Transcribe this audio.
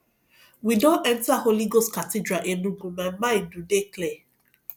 we don enta holy ghost cathedral enugu my mind do dey clear